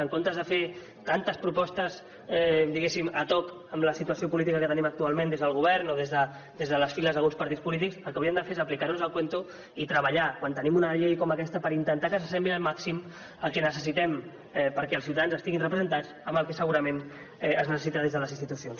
en comptes de fer tantes propostes diguéssim ad hoc amb la situació política que tenim actualment des del govern o des de les files d’alguns partits polítics el que hauríem de fer és aplicar nos el cuento i treballar quan tenim una llei com aquesta per intentar que s’assembli al màxim al que necessitem perquè els ciutadans estiguin representats en el que segurament es necessita des de les institucions